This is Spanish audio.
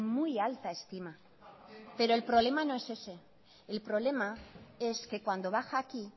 muy alta estima pero el problema no es ese el problema es que cuando baja aquí